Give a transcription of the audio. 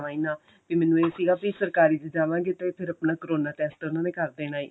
ਜਾਵਾਂ ਹੀ ਨਾਂ ਬੀ ਮੈਨੂੰ ਇਹ ਸੀਗਾ ਕੀ ਸਰਕਾਰੀ ਚ ਜਾਵਾਗੇ ਤੇ ਫਿਰ ਆਪਣਾ ਕਰੋਨਾ test ਤਾਂ ਉਹਨਾ ਨੇ ਕਰ ਦੇਣਾ ਏ